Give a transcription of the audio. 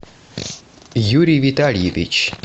юрий витальевич